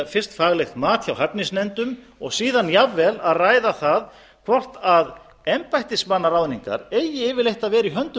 fyrst faglegt mat hjá hæfnisnefndum og síðan jafnvel að ræða það hvort embættismannaráðningar eigi yfirleitt að vera i höndum